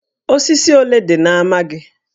Osisi ole dị na ámá gị?